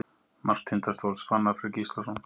Mark Tindastóls: Fannar Freyr Gíslason.